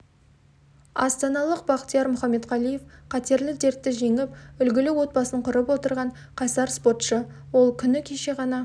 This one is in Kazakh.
астаналық бахтияр мұхаметқалиев қатерлі дертті жеңіп үлгілі отбасын құрып отырған қайсар спортшы ол күні кеше ғана